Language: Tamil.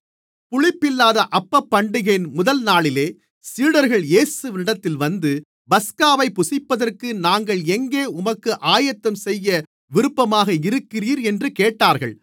புளிப்பில்லாத அப்பப்பண்டிகையின் முதல்நாளிலே சீடர்கள் இயேசுவினிடத்தில் வந்து பஸ்காவைப் புசிப்பதற்கு நாங்கள் எங்கே உமக்கு ஆயத்தம்செய்ய விருப்பமாக இருக்கிறீர் என்று கேட்டார்கள்